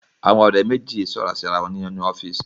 Àwọn ọ̀rẹ́ méjì sọ̀rọ̀ sí ara wọn ninú ọ́fíísì.